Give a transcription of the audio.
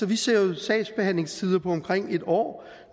vi ser jo sagsbehandlingstider på omkring et år